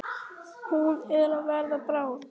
Hún er að verða bráð.